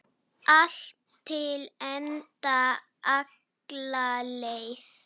Allt til enda, alla leið.